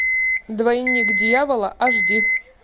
двойник дьявола аш ди